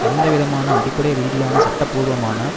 எந்தவிதமான அடிப்படை ரீதியான சட்டபூர்வமான